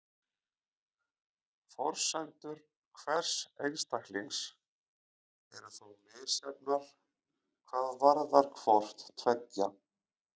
Forsendur hvers einstaklings eru þó misjafnar hvað varðar hvort tveggja.